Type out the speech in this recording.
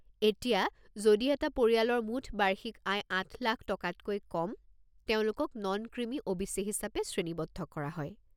এতিয়া, যদি এটা পৰিয়ালৰ মুঠ বাৰ্ষিক আয় আঠ লাখ টকাতকৈ কম, তেওঁলোকক নন-ক্ৰিমি অ'.বি.চি. হিচাপে শ্ৰেণীবদ্ধ কৰা হয়।